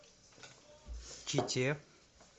чите